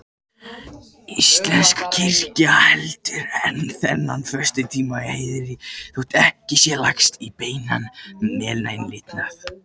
Íslensk kirkja heldur enn þennan föstutíma í heiðri, þótt ekki sé lagst í beinan meinlætalifnað.